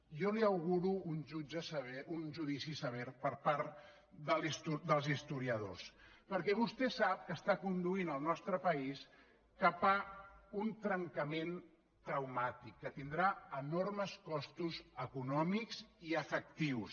jo li auguro un judici sever per part dels historiadors perquè vostè sap que condueix el nostre país cap a un trencament traumàtic que tindrà enormes costos econòmics i afectius